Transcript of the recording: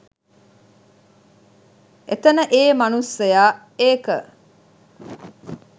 එතන ඒ මනුස්සයා ඒක